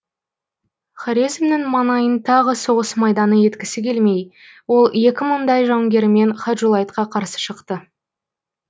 хорезмнің маңайын тағы соғыс майданы еткісі келмей ол екі мыңдай жауынгерімен хаджулайтқа қарсы шықты